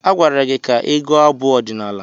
Agwara gị ka ị gụọ abụ ọdịnala!